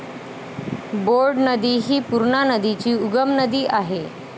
Board नदी हि पूर्णा नदीची उपनदी आहे.